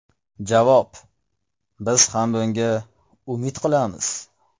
Javob: Biz ham bunga umid qilamiz.